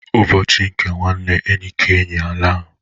Ụbọchị nke nwanne enyi ka enyi alaa.